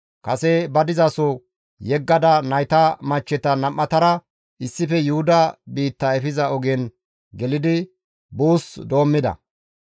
Kase ba dizaso yeggada nayta machcheta nam7atara issife Yuhuda biitta efiza ogen gelidi buus doommida.